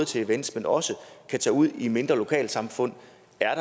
til events men også kan tage ud i mindre lokalsamfund